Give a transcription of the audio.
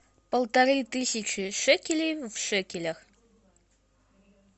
полторы тысячи шекелей в шекелях